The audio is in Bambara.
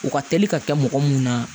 U ka teli ka kɛ mɔgɔ mun na